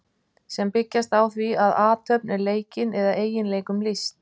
sem byggjast á því að athöfn er leikin eða eiginleikum lýst